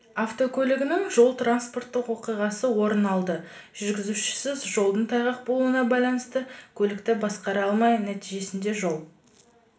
автокөлігінің жол-транспорттық оқиғасы орын алды жүргізушісі жолдың тайғақ болуына байланысты көлікті басқара алмай нәтижесінде жол